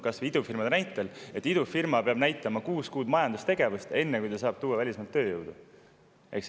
Kasvõi näiteks idufirmad: idufirma peab näitama, kuus kuud majandustegevust, enne kui ta saab tuua välismaalt tööjõudu.